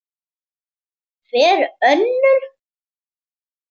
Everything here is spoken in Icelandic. Hver önnur?